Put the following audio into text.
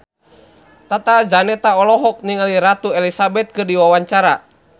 Tata Janeta olohok ningali Ratu Elizabeth keur diwawancara